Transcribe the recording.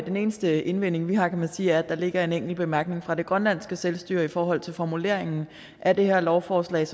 den eneste indvending vi har kan man sige er at der ligger en enkelt bemærkning fra det grønlandske selvstyre i forhold til formuleringen af det her lovforslag